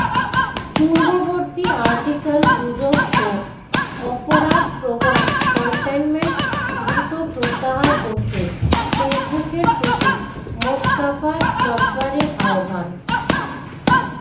পূর্ববর্তী আর্টিকেলগুজব ও অপরাধ প্রবণ কনটেন্ট দ্রুত প্রত্যাহার করতে ফেসবুকের প্রতি মোস্তাফা জব্বারের আহ্বান